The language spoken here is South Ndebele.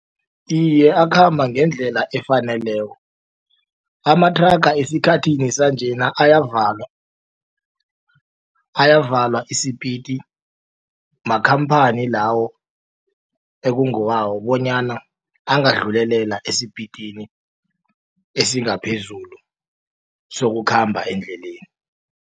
Iye akhamba ngendlela efaneleko amathraga esikhathini sanjena ayavalwa ayavalwa isipiti makhamphani lawo ekungewabo bonyana angadlulelela esipitini esingaphezulu sokukhamba endleleni.